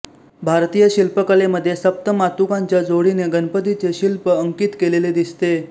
भारतीय शिल्पकलेमध्ये सप्त मातूकांच्या जोडीने गणपतीचे शिल्प अंकित केलेले दिसते